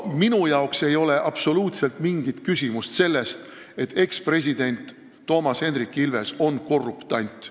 Minu arvates ei ole absoluutselt mingit küsimust, kas ekspresident Toomas Hendrik Ilves on korruptant.